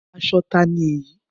Aṣọ ta ni èyí?